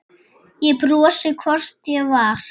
Ég brosti, hvort ég var!